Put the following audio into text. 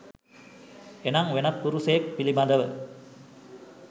එනම් වෙනත් පුරුෂයෙක් පිළිබඳව